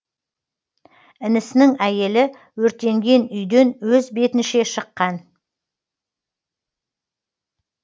інісінің әйелі өртенген үйден өз бетінше шыққан